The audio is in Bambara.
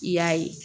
I y'a ye